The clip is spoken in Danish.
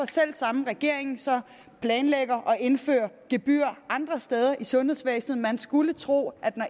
selv samme regering så planlægger at indføre gebyrer andre steder i sundhedsvæsenet man skulle tro at når